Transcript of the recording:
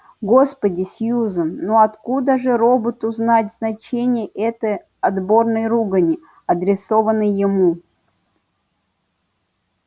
господи сьюзен ну откуда же роботу знать значение этой отборной ругани адресованной ему